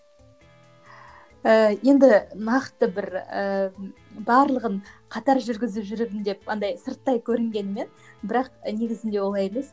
ііі енді нақты бір ііі барлығын қатар жүргізіп жүрмін деп андай сырттай көрінгенімен бірақ негізінде олай емес